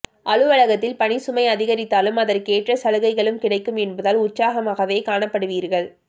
அலுவலகத்தில் பணிச்சுமை அதிகரித்தாலும் அதற்கேற்ற சலுகைகளும் கிடைக்கும் என்பதால் உற்சாகமாகவே காணப்படுவீர்கள்